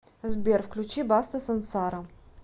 сбер включи баста сансара